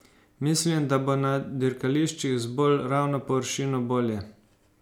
Mislim, da bo na dirkališčih z bolj ravno površino bolje.